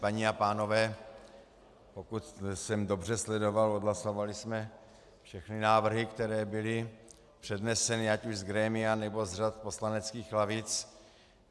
Paní a pánové, pokud jsem dobře sledoval, odhlasovali jsme všechny návrhy, které byly předneseny ať už z grémia, nebo z řad poslaneckých lavic.